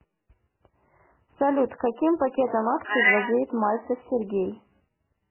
салют каким пакетом акций владеет мальцев сергей